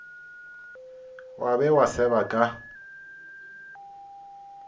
wa be wa seba ka